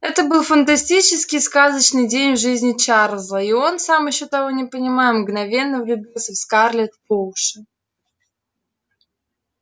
это был фантастический сказочный день в жизни чарлза и он сам ещё того не понимая мгновенно влюбился в скарлетт по уши